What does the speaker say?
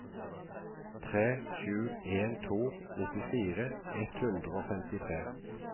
tre sju en to nittifire ett hundre og femtitre